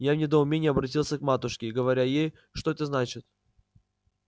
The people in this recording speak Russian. я в недоумении оборотился к матушке говоря ей что это значит